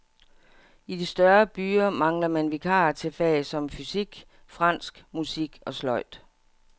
I de større byer mangler man vikarer til fag som fysik, fransk, musik og sløjd.